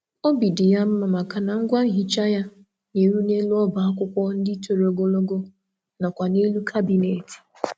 Ọ na-enwe mmasị na ihe mgbasa ájá ya nwere ike ịgbatị ka o wee ruo elu shelf na ndí akpati.